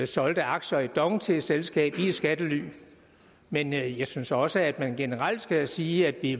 solgte aktier i dong til et selskab i skattely men jeg synes også at man generelt skal sige at vi